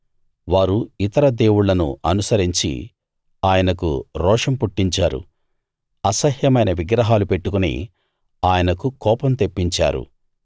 వారు ఇతర దేవుళ్ళను అనుసరించి ఆయనకు రోషం పుట్టించారు అసహ్యమైన విగ్రహాలు పెట్టుకుని ఆయనకు కోపం తెప్పించారు